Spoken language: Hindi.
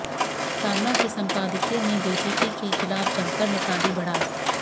सामना के संपादकीय में बीजेपी के खिलाफ जमकर निकाली भड़ास